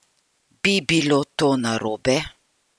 Bi bilo to narobe?